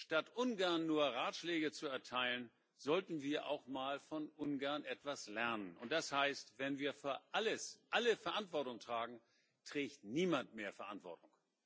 Statt Ungarn nur Ratschläge zu erteilen, sollten wir auch mal von Ungarn etwas lernen, und das heißt Wenn wir für alles alle Verantwortung tragen, trägt niemand mehr Verantwortung.